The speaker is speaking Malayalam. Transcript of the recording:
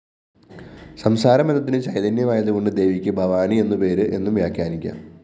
സംസാരബന്ധത്തിനു ചൈതന്യമായതുകൊണ്ട് ദേവിക്ക് ഭവാനി എന്നുപേര് എന്നും വ്യാഖ്യാനിക്കാം